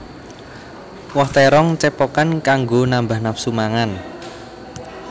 Woh térong cepokan kanggo nambah nafsu mangan